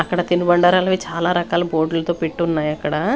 అక్కడ తిను బండారాలవి చాలా రకాల బోర్డు లతో పెట్టి ఉన్నాయి అక్కడ.